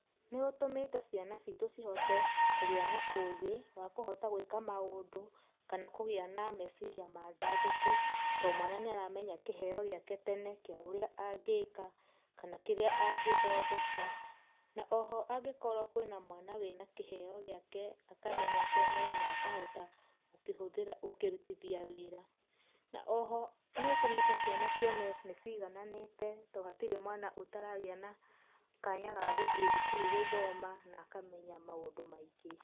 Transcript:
Nĩ ũtũmĩte ciana ciitũ cihote kũgĩa na ũgĩ wa kũhota gwĩka maũndũ, kana kũgia na meciria mandandũku, too mwana nĩĩ aramenya kĩheo gĩake tene kĩa ũrĩa angĩka, kana kĩrĩa angĩthondeka, na oho angĩkorwo kwĩna mwana wĩna kĩheo gĩake akamenya tene na akahota gũkĩhũthĩra gũkĩrutithia wĩra. Na oho nĩũtũmĩte ciana cione nĩĩ cigananĩte too hatirĩ mwana ũtaragĩa na kanya gagũthie thukuru gũthoma na akamenya maũndũ maingĩ.